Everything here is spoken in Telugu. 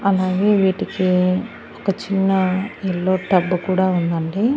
అలాగే వీటికి ఒక చిన్న యెల్లో టబ్బు కూడా ఉందండి.